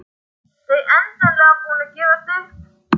Þau endanlega búin að gefast upp.